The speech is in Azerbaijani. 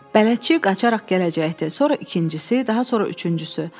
Bələdçi qaçaraq gələcəkdi, sonra ikincisi, daha sonra üçüncüsü.